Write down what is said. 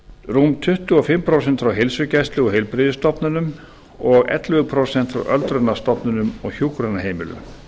rúm tuttugu og fimm prósent frá heilsugæslu og heilbrigðisstofnunum og ellefu prósent frá öldrunarstofnunum og hjúkrunarheimilum